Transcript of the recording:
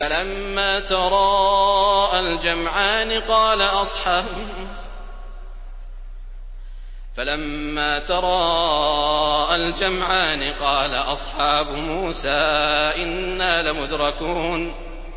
فَلَمَّا تَرَاءَى الْجَمْعَانِ قَالَ أَصْحَابُ مُوسَىٰ إِنَّا لَمُدْرَكُونَ